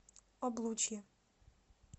облучье